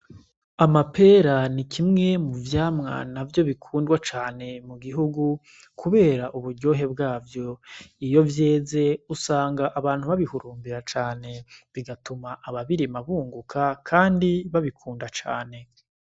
Amapera ni kimwe mu vyamwa na vyo bikundwa cane mu gihugu, kubera uburyohe bwavyo iyo vyeze usanga abantu babihurumbira cane bigatuma ababirimabunguka, kandi babikunda cane.